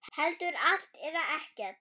Heldur allt eða ekkert.